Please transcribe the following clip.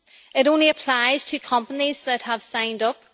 It only applies to companies that have signed up.